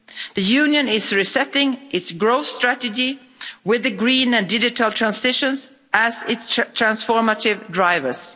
The Union is resetting its growth strategy with the green and digital transitions as its transformative drivers.